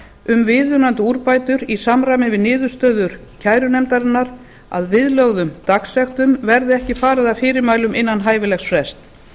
um viðunandi úrbætur í samræmi við niðurstöður kærunefndarinnar að viðlögðum dagsektum verði ekki farið að fyrirmælum innan hæfilegs frests